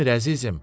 Yemir əzizim.